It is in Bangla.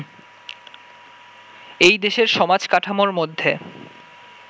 এই দেশের সমাজ-কাঠামোর মধ্যে